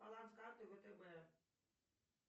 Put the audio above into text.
баланс карты втб